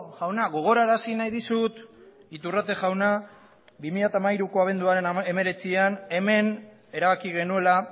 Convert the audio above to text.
jauna gogorarazi nahi dizut iturrate jauna bi mila hamairuko abenduaren hemeretzian hemen erabaki genuela